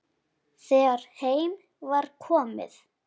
Þegar heim var komið.